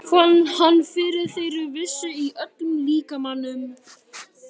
Fann fyrir þeirri vissu í öllum líkamanum.